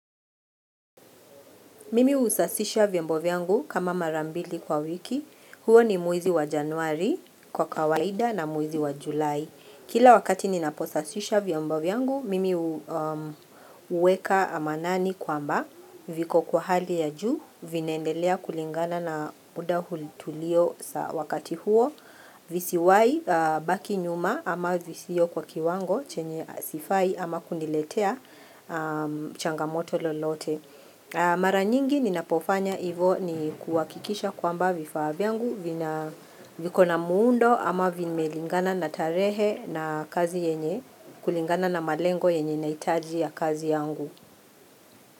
Mimi usasisha vyombo vyangu kama mara mbili kwa wiki, huo ni mwezi wa Januari kwa kawaida na mwezi wa Julai. Kila wakati ninaposasisha vyombo vyangu, mimi uweka amanani kwamba viko kwa hali ya juu, vinaendelea kulingana na muda hulitulio wakati huo. Visiwai baki nyuma ama visiyo kwa kiwango chenye asifai ama kuniletea changamoto lolote. Mara nyingi ninapofanya ivo ni kuwakikisha kwamba vifaa vyangu vikona muundo ama vimelingana na tarehe na kazi yenye kulingana na malengo yenye naitaji ya kazi yangu.